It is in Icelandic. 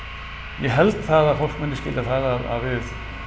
ég held það að fólk muni skilja það að við